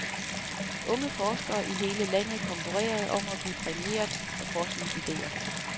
Unge forskere i hele landet konkurrerede om at blive præmieret for forskningsidéer.